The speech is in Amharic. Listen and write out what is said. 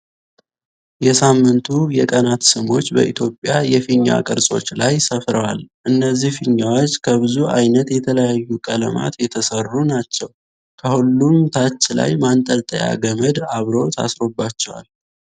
የሳምንቱ የቀናት ስሞች በተለያዩ የፊኛ ቅርጾች ላይ ሰፍረዋል። እነዚህ ፊኛዎች ከብዙ አይነት የተለያዩ ቀለማት የተሰሩ ናቸው ከሁሉም ታች ላይ ማንጠልጠያ ገመድ አብሮ ታስሮባቸዋል።።